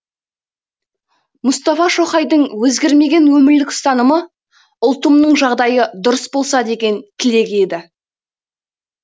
мұстафа шоқайдың өзгермеген өмірлік ұстанымы ұлтымның жағдайы дұрыс болса деген тілегі еді